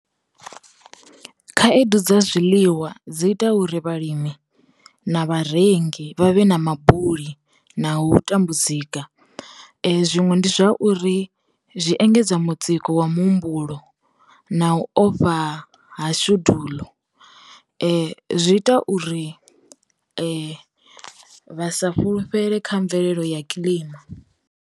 Khaedu dza zwiḽiwa dzi ita uri vhalimi, na vharengi vha vhe na ma buli na u tambu zika, zwiṅwe ndi zwa uri zwi engedza mutsiko wa mu humbulo na u ofha ha shedulu zwi ita uri vha sa fhulufhele kha mvelelo ya kiḽima.